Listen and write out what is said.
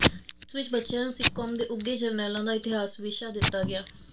ਜਿਸ ਵਿੱਚ ਬੱਚਿਆਂ ਨੂੰ ਸਿੱਖ ਕੌਮ ਦੇ ਉਘੇ ਜਰਨੈਲਾਂ ਦਾ ਇਤਿਹਾਸ ਵਿਸ਼ਾ ਦਿੱਤਾ ਗਿਆ